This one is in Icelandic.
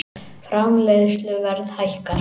Framleiðsluverð hækkar